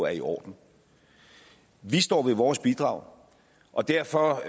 er i orden vi står ved vores bidrag og derfor